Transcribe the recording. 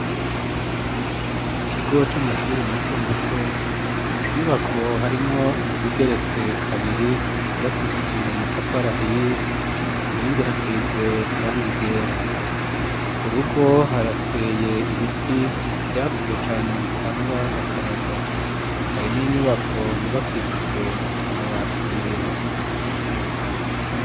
mu kigo c'amashure mato mato inyubako harimwo izigeretse kabiri yubakishije amatafari ahiye ku nkingi hasize irangi ryera ku rugo harateye ibiti vyakuze cane bitanga akayaga hari n'inyubako yubakishije amabati yera